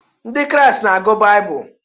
Ndị Kraịst na-agụ Baịbụl.